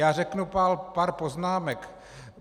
Já řeknu pár poznámek.